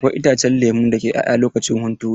Akwai itacen lemo dake 'ya'ya lokacin hunturu.